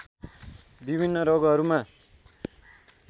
विभिन्न रोगहरूमा